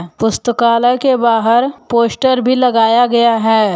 पुस्तकालय के बाहर पोस्टर भी लगाया गया है।